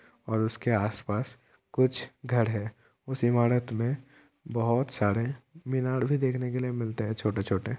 और उसके आस-पास कुछ घर है। उस इमारत मे बोहोत सारे मीनर भी देखने के लिए मिलते हैं छोटे-छोटे ।